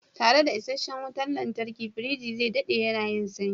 Tare da isasshen wutar lantarki, firiji zai daɗe yana yin sanyi.